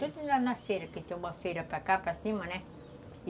É, tudo lá na feira, que tem uma feira para cá, para cima, né?